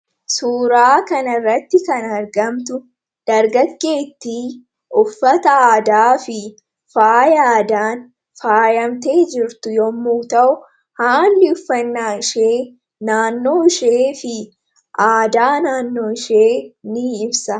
suuraa kan irratti kan argamtu dargaggeettii uffata aadaa fi faaya aadaan faayamtee jirtu yommuu ta'u haalli uffannaa ishee naannoo ishee fi aadaa naannoo ishee ni himsa